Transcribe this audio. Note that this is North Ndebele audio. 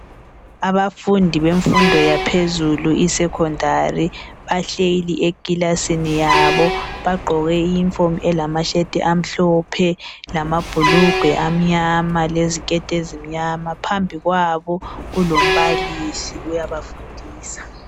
Abafundi bemfundo yaphezulu i Secondary bahleli ekilasini yabo bagqoke i uniform elama shirt amhlophe, lamabhulugwe amnyama ,leziketi uzimnyama phambi kwabo kulombalisi uyabafundisa